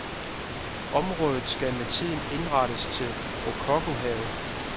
Området skal med tiden indrettes til rokokohave.